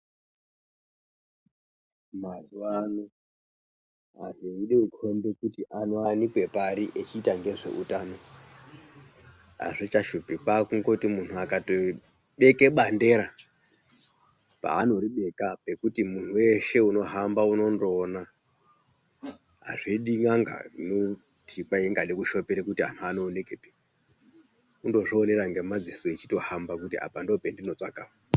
Mazuvaano anhu eide kukombe kuti anowanikwa pari echiita ngezveutano hazvichashupi, kwaakungoti munhu akatobeke bandera paanoribeka pekuti munhu weshe unohamba unondooona. Hazvidi n'anga, inoti kwai ingade kushopoere kuti anhu anoonekepi, kundozvionera ngemadziso echitohamba kuti apa ndoope ndinotsvaka apa.